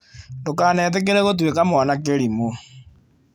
Ndũkanetĩkĩre gũtuĩka mwana kĩrimũ